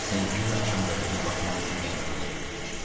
Senkler axşam qəzetinə baxmaq üçün qəhvəxanaya girmişdi.